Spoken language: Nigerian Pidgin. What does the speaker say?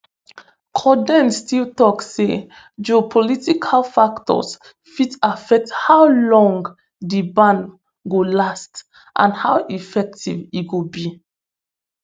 cauthen still tok say geopolitical factors fit affect how long di ban go last and how effective e go be